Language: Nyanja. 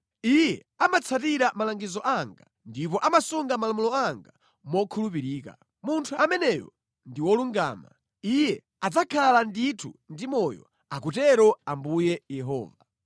Iye amatsatira malangizo anga, ndipo amasunga malamulo anga mokhulupirika. Munthu ameneyo ndi wolungama; iye adzakhala ndithu ndi moyo, akutero Ambuye Yehova.